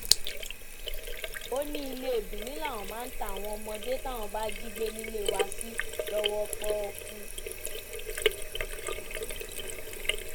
ó ní ilé benin làwọn máa ń ta àwọn ọmọdé táwọn bá jí gbé nílé wa sí lọwọ pọọkú